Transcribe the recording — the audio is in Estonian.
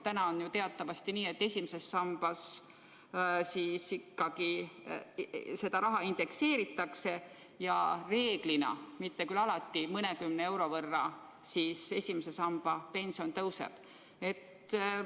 Praegu on teatavasti nii, et I samba raha indekseeritakse ja reeglina, mitte küll alati, I samba pension mõnekümne euro võrra kasvab.